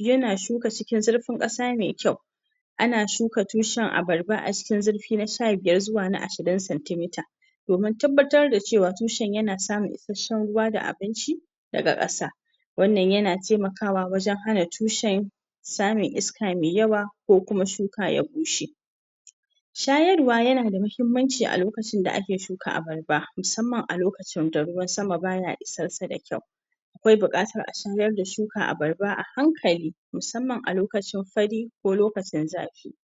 yana shuka cikin zurfin ƙasa mai kyau ana shuka tushen abarba a cikin zurfi na sha biyar zuwa na ashirin centi meter domin tabbatar da cewa tushen yana samun isasshen ruwa da abinci daga ƙasa wannan yana taimakawa wajen hana tushen samun iska mai yawa ko kuma shuka ya bushe shayarwa yana da muhimmanci a lokacin da ake shuka abarba musamman a lokacin da ruwan sama ba ya isarsa da kyau A kwai buƙatar a shayar da shukar abarba a hankali musamman a loakcin fari ko lokacin zafi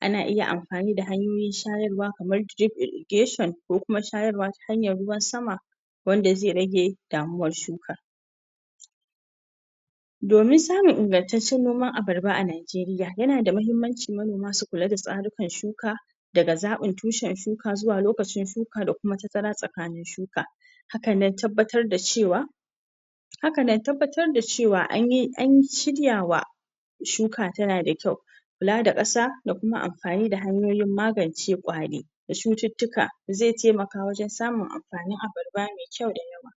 ana iya amfani da hanyoyin shayarwa kamar irrigation ko kuma shayarwa ta hanyar ruwan sama wanda zai rage damuwar shuka. domin samun ingantaccen noman abarba a Najeriya, yana da muhimmanci manoma su kula da tsarukan shuka daga zaɓin tushen shuka zuwa lokacin shuka da kuma tazara tsakanin shuka. hakan na tabbatar da cewa haka na tabbatar da cewa an shirya wa shuka tana da kyau kula da ƙasa da kuma amfani da hanyoyin magance ƙwari. da cututtuka zai taimaka wajen samun amfanin abarba mai kyau da yawa.